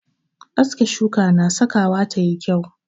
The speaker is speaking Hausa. Aske shuka na sakawa ta yi kyau.